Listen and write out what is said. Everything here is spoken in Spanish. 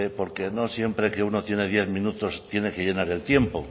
porque no siempre que uno tiene diez minutos tiene que llenar el tiempo